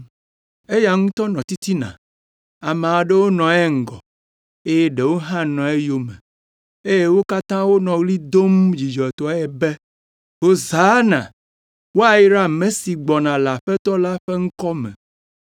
Eya ŋutɔ nɔ titina, ame aɖewo nɔ eŋgɔ, eye ɖewo hã nɔ eyome, eye wo katã wonɔ ɣli dom dzidzɔtɔe be, “Hosana!” “Woyra ame si gbɔna le Aƒetɔ la ƒe ŋkɔ me.”